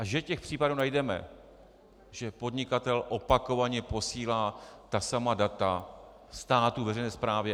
A že těch případů najdeme, že podnikatel opakovaně posílá ta samá data státu, veřejné správě.